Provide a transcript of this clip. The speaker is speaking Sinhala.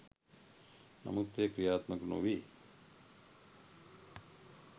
නමුත් එය ක්‍රියාත්මක නොවේ.